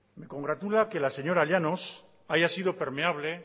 me congratula que la señora llanos haya sido permeable